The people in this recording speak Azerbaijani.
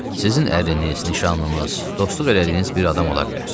Sizin ərviniz, nişanınız, dostluq elədiyiniz bir adam ola bilər.